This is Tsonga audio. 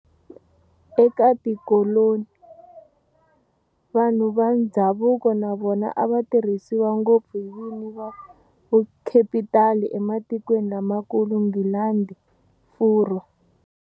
Eka tikoloni, vanhu va ndzhavuko na vona a va tirhisiwa ngopfu hi vini va vukhepitali ematikweni lamakulu, Nghilandhi, Furwa.